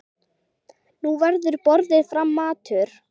Nú verður borinn fram matur.